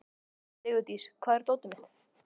Sigurdís, hvar er dótið mitt?